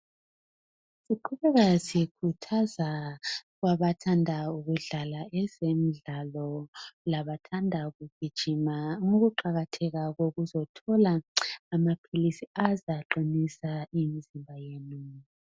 Siqhubeka sikhuthaza kwabathanda ukudlala ezemidlalo labathanda ukugijima ngokuqakatheka kokuzothola amaphilisi azaqinisa imizimba yenu.